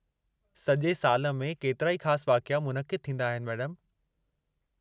सॼे साल में केतिराई ख़ासि वाक़िया मुनक़िदु थींदा आहिनि, मैडमु।